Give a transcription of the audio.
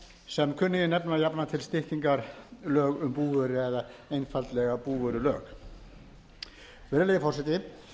sem kunnugir nefna jafnan til styttingar lög um búvöru eða einfaldlega búvörulög virðulegi forseti